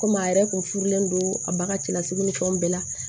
Komi a yɛrɛ kun furulen don a baga cɛlasigi ni fɛnw bɛɛ la